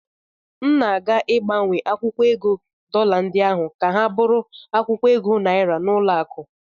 M na-aga ịgbanwe akwụkwọ ego dọla ndị ahụ ka ha bụrụ akwụkwọ ego naịra n'ụlọakụ.